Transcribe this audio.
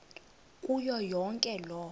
kuyo yonke loo